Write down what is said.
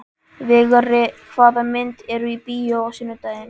Vigri, hvaða myndir eru í bíó á sunnudaginn?